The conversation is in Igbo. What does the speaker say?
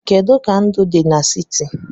Kedu ka ndụ dị n'siti?